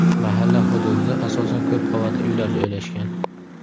Mahalla hududida asosan ko‘p qavatli uylar joylashgan.